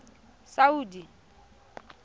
saudi